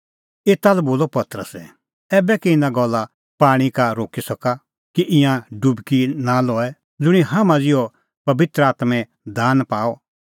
एता लै बोलअ पतरसै ऐबै कै इना कुंण पाणीं का रोक्की सका कि ईंयां डुबकी निं लऐ ज़ुंणी हाम्हां ज़िहअ ई पबित्र आत्मों दान पाअ